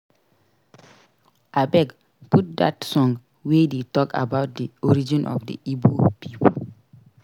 Abeg put dat song wey dey talk about the origin of the Igbo people